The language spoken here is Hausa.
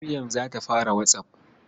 Maryam za ta fara WhatsApp.